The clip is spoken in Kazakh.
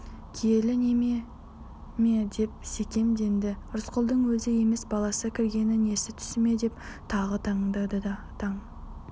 киелі неме ме деп секемденді рысқұлдың өзі емес баласы кіргені несі түсіме деп тағы таңданды таң